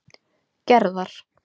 Gerðar